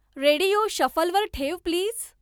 radio शफलवर ठेव please